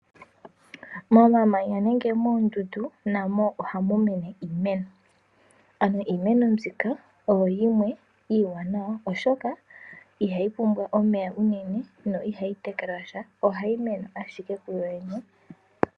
Momamanya nenge moondundu namo ohamu mene iimeno, ano iimeno mbika oyo yimwe iiwanawa, oshoka ihayi pumbwa omeya unene, no iha yi tekelwa sha oha yi, mene ashike kuyo yene.